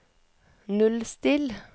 nullstill